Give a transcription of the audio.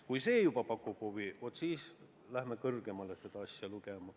Kui see pakub huvi, vaat siis läheme kõrgemale seda asja lugema.